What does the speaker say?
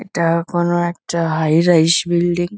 এটা কোনো একটা হাই রাইস বিল্ডিং ।